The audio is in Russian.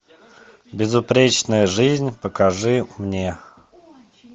безупречная жизнь покажи мне